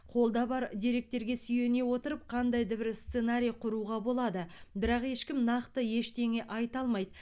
қолда бар деректерге сүйене отырып қандай да бір сценарий құруға болады бірақ ешкім нақты ештеңе айта алмайды